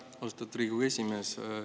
Aitäh, austatud Riigikogu esimees!